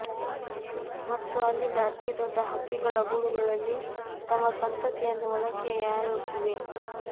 ಮತ್ತು ಅಲ್ಲಿ ಅತಿದೊಡ್ಡ ಹಕ್ಕಿಗಳ ಗೂಡುಗಳಲ್ಲಿ ತಮ್ಮ ಸಂತತಿಯನ್ನು ಒಳಕ್ಕೆ ಯಾರು ಇವೆ